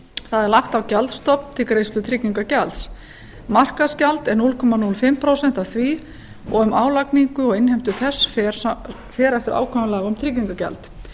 það er lagt á gjaldstofn til greiðslu tryggingagjalds markaðsgjald er núll komma núll fimm prósent af því og um álagningu og innheimtu þess fer eftir ákvæðum laga um tryggingagjald